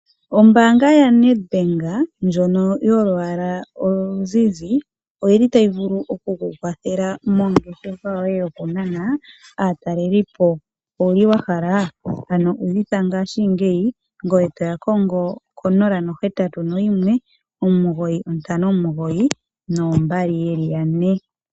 Ombanga yaNedbank ndjono yolwaala oluzizi oyili tayi vulu oku ku kwathela mongeshefa yoye yoku nana aatalelipo. Ano owuli wa hala ? Udhitha ngashigeyi ngoye toya kongo ko 0819592222.